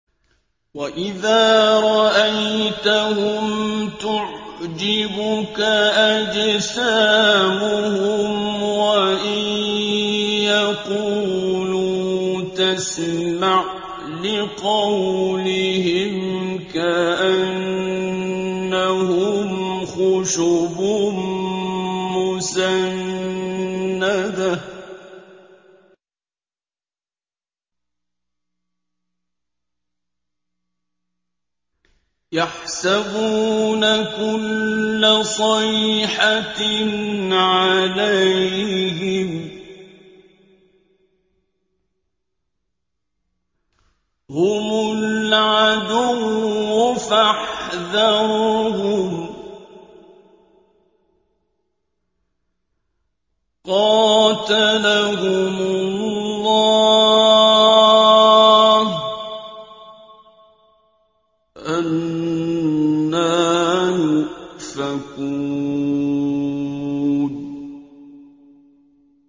۞ وَإِذَا رَأَيْتَهُمْ تُعْجِبُكَ أَجْسَامُهُمْ ۖ وَإِن يَقُولُوا تَسْمَعْ لِقَوْلِهِمْ ۖ كَأَنَّهُمْ خُشُبٌ مُّسَنَّدَةٌ ۖ يَحْسَبُونَ كُلَّ صَيْحَةٍ عَلَيْهِمْ ۚ هُمُ الْعَدُوُّ فَاحْذَرْهُمْ ۚ قَاتَلَهُمُ اللَّهُ ۖ أَنَّىٰ يُؤْفَكُونَ